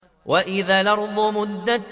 وَإِذَا الْأَرْضُ مُدَّتْ